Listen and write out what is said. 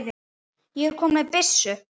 ég er kominn með byssu!